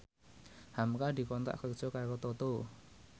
hamka dikontrak kerja karo Toto